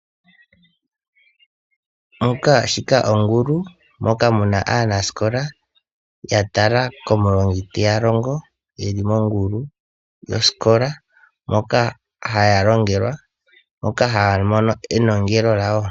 Shika ongulu moka mu na aanasikola ya tala komulongi te ya longo ye li mongulu yosikola moka haya longelwa moka haya mono enongelo lyawo.